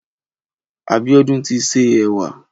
Abiodun ti sé ẹwà